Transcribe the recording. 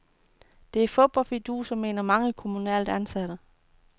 Det er fup og fiduser, mener mange kommunalt ansatte.